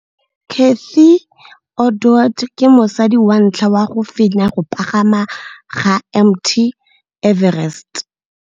Cathy Odowd ke mosadi wa ntlha wa go fenya go pagama ga Mt Everest.